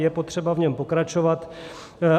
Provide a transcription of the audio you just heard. Je potřeba v něm pokračovat.